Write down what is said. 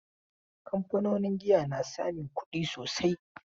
Kamfanonin giya na samun kudi sosai.